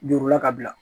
Jurula ka bila